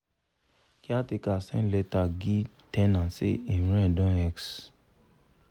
caretaker send letter gie ten ant say him rent don x